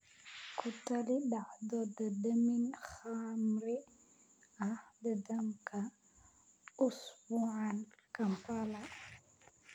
ku tali dhacdo dhadhamin khamri ah dhammaadka usbuucan Kampala